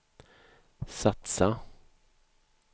satsa